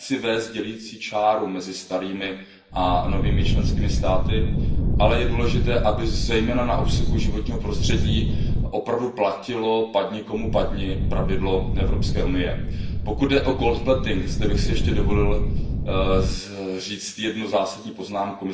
Nechci vést dělicí čáru mezi starými a novými členskými státy, ale je důležité, aby zejména na úseku životního prostředí opravdu platilo pravidlo Evropské unie, padni komu padni. Pokud jde o gold plating zde bych si ještě dovolil říci jednu zásadní poznámku.